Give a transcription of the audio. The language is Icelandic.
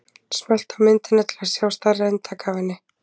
Smelltu á myndina til að sjá stærra eintak af henni.